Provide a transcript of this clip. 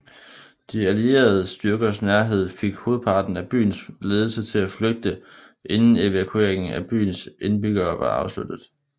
De allierede styrkers nærhed fik hovedparten af byens ledelse til at flygte inden evakueringen af byens indbyggere var afsluttet